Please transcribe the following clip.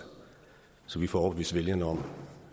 så vi får overbevist vælgerne om